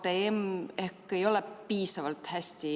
Määran muudatusettepanekute esitamise tähtajaks k.a 31. märtsi kell 17.